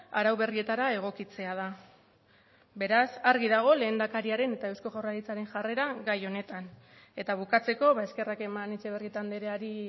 arau berrietara egokitzea da beraz argi dago lehendakariaren eta eusko jaurlaritzaren jarrera gai honetan eta bukatzeko eskerrak eman etxebarrieta andreari